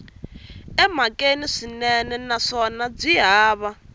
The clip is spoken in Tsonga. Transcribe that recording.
emhakeni swinene naswona byi hava